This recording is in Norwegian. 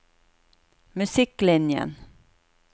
musikklinjen